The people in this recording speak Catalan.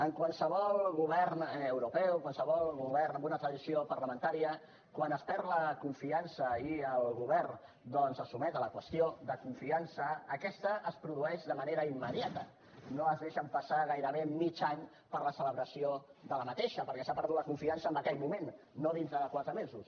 en qualsevol govern europeu qualsevol govern amb una tradició parlamentària quan es perd la confiança i el govern doncs es sotmet a la qüestió de confiança aquesta es produeix de manera immediata no es deixa passar gairebé mig any per a la celebració d’aquesta perquè s’ha perdut la confiança en aquell moment no d’aquí a quatre mesos